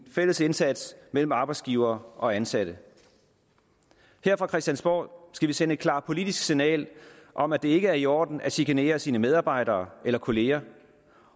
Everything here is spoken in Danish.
fælles indsats mellem arbejdsgivere og ansatte her fra christiansborg skal vi sende et klart politisk signal om at det ikke er i orden at chikanere sine medarbejdere eller kolleger